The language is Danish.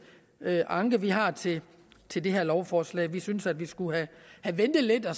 anke vi har til til det her lovforslag vi synes at vi skulle have ventet lidt og